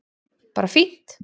Bara fínt